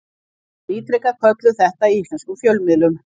Samt ítrekað kölluð þetta í íslenskum fjölmiðlum.